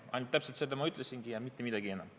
Ainult täpselt seda ma ütlesingi ja mitte midagi enamat.